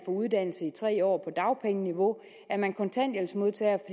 uddannelse i tre år på dagpengeniveau er man kontanthjælpsmodtager